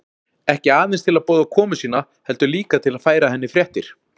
Ekki aðeins til að boða komu sína heldur líka til að færa henni fréttir.